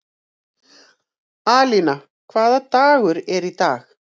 Alína, hvaða dagur er í dag?